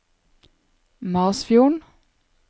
Masfjorden